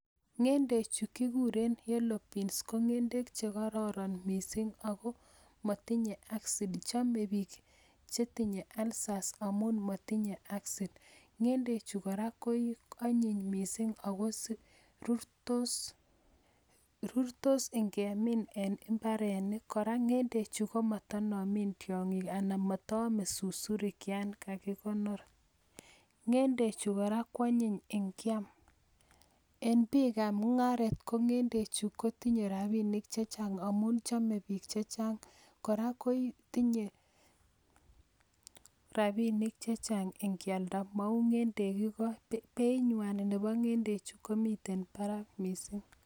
Ng'endechu kikuren yellow beans ko ng'gendek che kokororon mising Ako matinye acid chome piik chetinye alcers amun matinye acid, ng'gendek chu ko anyiny mising Ako rurtos ngemin eng mbarenik kora ng'endechu komatanomei tiongik anan mataamei susurik Yan kakikonor, ng'endechu koran koanyiny ngeam. Eng piik ap mungaret ko ng'gendek chu kotinye rapinik checheang amun chome piik checheang kora kotinye rapinik checheang engkialda mau ng'endek choalakbeingwany nepo ng'endek chu komitei Barak mising